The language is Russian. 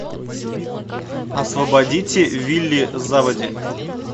освободите вилли заводи